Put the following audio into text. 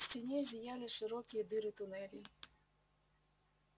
в стене зияли широкие дыры туннелей